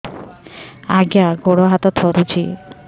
ଆଜ୍ଞା ଗୋଡ଼ ହାତ ଥରୁଛି